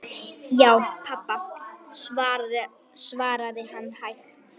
Já, pabba, svaraði hann hægt.